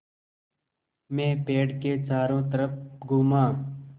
मैं पेड़ के चारों तरफ़ घूमा